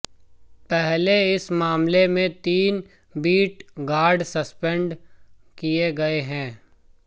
पहले इस मामले में तीन बीट गार्ड सस्पेंड किए गए हैं